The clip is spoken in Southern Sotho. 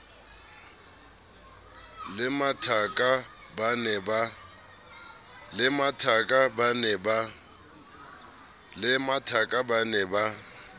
le mathaka ba ne ba